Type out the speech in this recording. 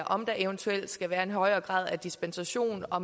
om der eventuelt skal være en højere grad af dispensation og